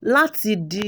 Lati di